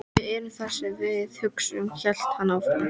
Við erum það sem við hugsum- hélt hann áfram.